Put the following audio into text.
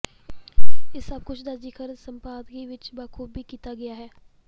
ਇਸ ਸਭ ਕੁਝ ਦਾ ਜ਼ਿਕਰ ਸੰਪਾਦਕੀ ਵਿੱਚ ਬਾਖ਼ੂਬੀ ਕੀਤਾ ਗਿਆ ਹੈ